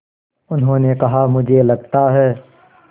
उन्होंने कहा मुझे लगता है